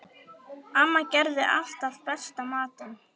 Amma gerði alltaf besta matinn.